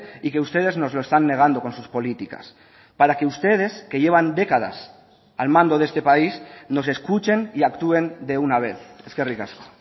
y que ustedes nos lo están negando con sus políticas para que ustedes que llevan décadas al mando de este país nos escuchen y actúen de una vez eskerrik asko